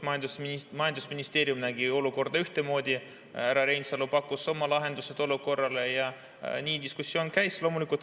Majandusministeerium nägi olukorda ühtemoodi, härra Reinsalu pakkus oma lahendused olukorrale ja nii see diskussioon käis.